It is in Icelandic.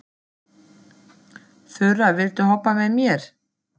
Horfði á hana með dauft bros á vörunum.